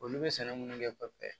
Olu bɛ sɛnɛ minnu kɛ pɛrɛnpɛn